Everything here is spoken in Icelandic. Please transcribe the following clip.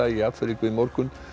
í Afríku í morgun